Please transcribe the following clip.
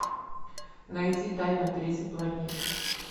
найти тайна третьей планеты